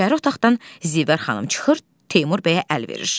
İçəri otaqdan Zivər xanım çıxır, Teymur bəyə əl verir.